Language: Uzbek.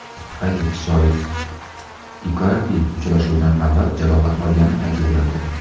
Qayd etish joiz, Ikardi uchrashuvdan avval jarohat olgani aytilgandi.